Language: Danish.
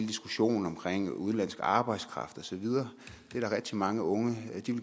diskussionen om udenlandsk arbejdskraft og så videre der er rigtig mange unge